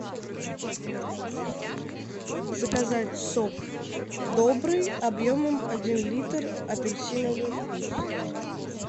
заказать сок добрый объемом один литр апельсиновый вкус